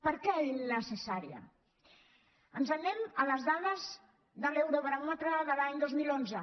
per què innecessària ens n’anem a les dades de l’eurobaròmetre de l’any dos mil onze